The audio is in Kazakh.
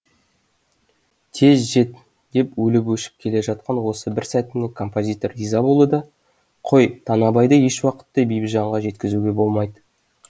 тез жет деп өліп өшіп келе жатқан осы бір сәтіне композитор риза болды да қой танабайды еш уақытта бибіжанға жеткізуге болмайды